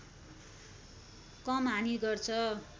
कम हानि गर्छ